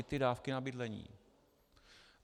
I ty dávky na bydlení.